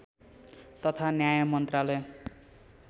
तथा न्याय मन्त्रालय